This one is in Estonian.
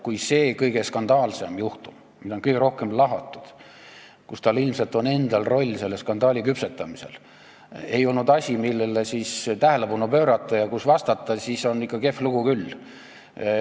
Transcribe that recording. Kui see kõige skandaalsem juhtum, mida on kõige rohkem lahatud – ja tal ilmselt on oma roll selle skandaali küpsetamisel –, ei olnud asi, millele tähelepanu pöörata ja millele vastata, siis on ikka kehv lugu küll.